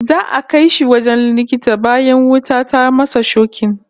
Za'a kai shi wajen likita bayan wuta ta masa shokin